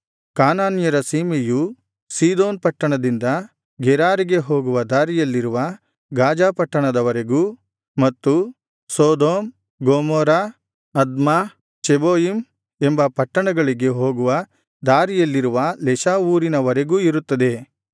ಕಾನಾನ್ಯರ ಸೀಮೆಯು ಸೀದೋನ್ ಪಟ್ಟಣದಿಂದ ಗೆರಾರಿಗೆ ಹೋಗುವ ದಾರಿಯಲ್ಲಿರುವ ಗಾಜಾ ಪಟ್ಟಣದ ವರೆಗೂ ಮತ್ತು ಸೊದೋಮ್ ಗೊಮೋರ ಅದ್ಮಾ ಚೆಬೋಯಿಮ್ ಎಂಬ ಪಟ್ಟಣಗಳಿಗೆ ಹೋಗುವ ದಾರಿಯಲ್ಲಿರುವ ಲೆಷಾ ಊರಿನವರೆಗೂ ಇರುತ್ತದೆ